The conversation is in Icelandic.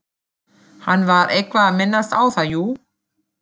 Hann var eitthvað að minnast á það, jú.